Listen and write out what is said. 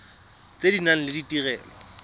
tse di nang le ditirelo